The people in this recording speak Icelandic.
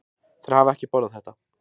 Þeir hafa ekki borðað þetta.